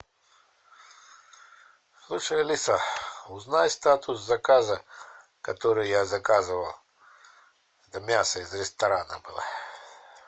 слушай алиса узнай статус заказа который я заказывал мясо из ресторана было